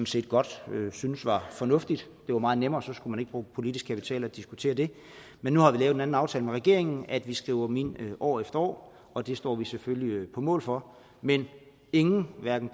set godt synes var fornuftigt det var meget nemmere så skulle man ikke bruge politisk kapital på at diskutere det men nu har vi lavet en anden aftale med regeringen om at vi skriver dem ind år efter år og det står vi selvfølgelig på mål for men ingen hverken